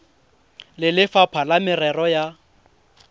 le lefapha la merero ya